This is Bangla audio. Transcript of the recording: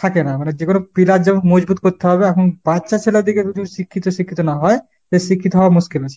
থাকেনা। মানে যেকোনো pillar যেমন মজবুত করতে হবে আখন বাচ্চা শিক্ষিত শিক্ষিত না হয় শিক্ষিত হওয়া মুশকিল আছে।